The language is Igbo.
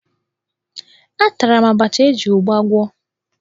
Atara m abacha e ji ụgba gwọ.